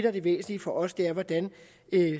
er det væsentlige for os er hvordan vi